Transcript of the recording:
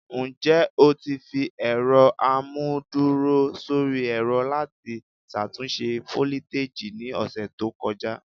Njẹ o ti fi ẹrọ amuduro sori ẹrọ lati ṣatunṣe foliteji ni ọsẹ to kọja?